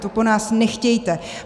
To po nás nechtějte!